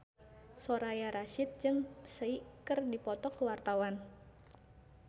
Soraya Rasyid jeung Psy keur dipoto ku wartawan